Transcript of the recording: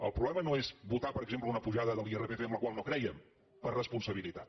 el problema no és votar per exemple una pujada de l’irpf en la qual no crèiem per responsabilitat